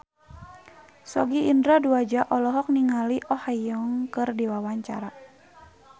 Sogi Indra Duaja olohok ningali Oh Ha Young keur diwawancara